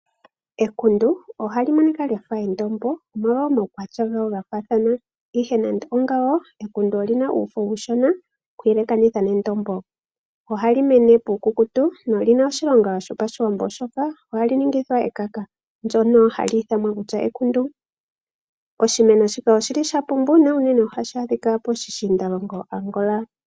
Ekundu ohali monika lyafa endombo nosho woo momawukwatya gawo gafathana. Ihe nande ongawo ekundu olyina uufo uushona oku yelekanitha nendombo. Ohali mene puukukutu, nolina oshilongo shopashiwambo oshoka ohali ningithwa ekaka, ndyoka hali ithanwa ekundu. Oshimeno shika oshili shapumba na uunene ohashi adhika poshishiindalongo Angola.